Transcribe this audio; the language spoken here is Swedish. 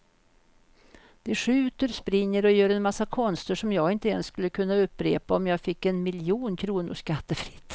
De skjuter, springer och gör en massa konster som jag inte ens skulle kunna upprepa om jag fick en miljon kronor skattefritt.